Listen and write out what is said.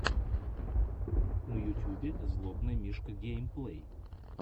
на ютюбе злобный мишка геймплей